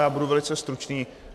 Já budu velice stručný.